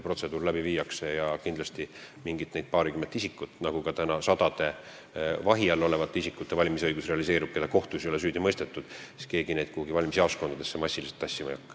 Kindlasti nende paarikümne isiku puhul, kui nende valimisõigus realiseerub, on nii nagu ka praegu sadade vahi all olevate isikute puhul, keda kohtus ei ole süüdi mõistetud, et keegi ei hakka neid massiliselt kuhugi valimisjaoskondadesse tassima.